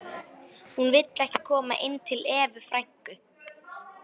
Hún vill ekki koma inn til Evu frænku